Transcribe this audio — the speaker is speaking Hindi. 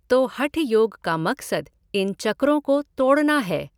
तो हठ योग का मकसद इन चक्रों को तोड़ना है।